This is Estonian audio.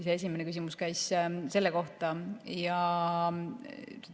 Esimene küsimus käis selle kohta.